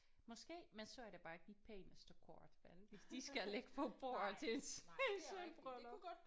Måske men så er det bare ikke de pæneste kort vel hvis de skal ligge på bordet til et sølvbryllp